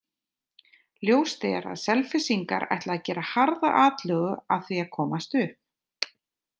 Ljóst er að Selfyssingar ætla að gera harða atlögu að því að komast upp.